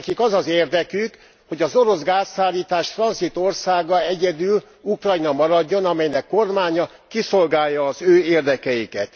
Nekik az az érdekük, hogy az orosz gázszállítás tranzitországa egyedül Ukrajna maradjon, amelynek kormánya kiszolgálja az ő érdekeiket.